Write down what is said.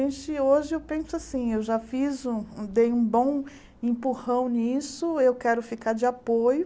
E hoje eu penso assim, eu já fiz um, dei um bom empurrão nisso, eu quero ficar de apoio.